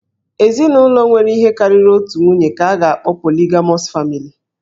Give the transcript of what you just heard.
Ezinụlọ nwere ihe karịrị otu nwunye ka a ga-akpọ 'Polygamous family'